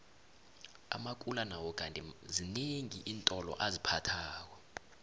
amakula nawo kandi zinengi iintolo aziphathako